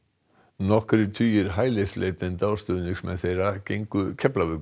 nokkrir tugir hælisleitenda og stuðningsmenn þeirra gengu